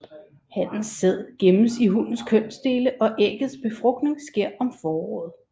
Hannens sæd gemmes i hunnens kønsdele og æggets befrugtning sker om foråret